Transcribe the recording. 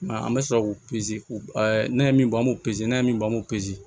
Mɛ an bɛ sɔrɔ k'u ne ye min bɔ an b'u pezeli an ye min bɔ an b'o